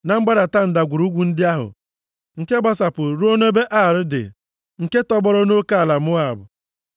na mgbadata ndagwurugwu ndị ahụ nke gbasapụrụ ruo nʼebe Ar dị, nke tọgbọrọ nʼoke ala Moab.”